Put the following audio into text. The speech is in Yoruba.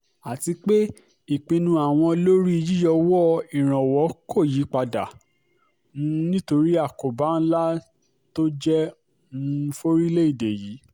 àti pé ìpinnu àwọn lórí yíyọwọ́ ìrànwọ́ kò yípadà um nítorí àkóbá ńlá tó jẹ́ um forílẹ̀-èdè yìí